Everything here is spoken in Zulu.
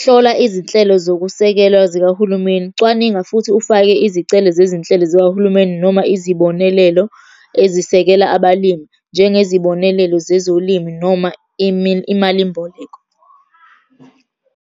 Hlola izinhlelo zokusekelwa zikahulumeni. Cwaninga futhi ufake izicelo zezinhlelo zikahulumeni noma izibonelelo ezisekela abalimi, njengezibonelelo zezolimi noma imalimboleko.